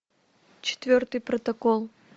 четвертый протокол